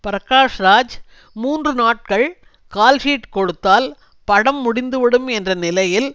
பிரகாஷ்ராஜ் மூன்று நாட்கள் கால்ஷீட் கொடுத்தால் படம் முடிந்துவிடும் என்ற நிலையில்